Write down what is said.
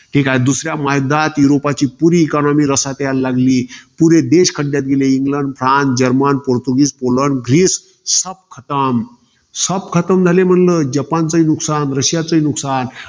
ठीकाय. दुसऱ्या महायुद्धात युरोपची पुरी economy रसात यायला लागली. पुरे देश खड्ड्यात गेले. England, France, German, Portuguese, Poland, Greece. झाले म्हणलं. जपानच नुकसान, रशियाचंही नुकसान.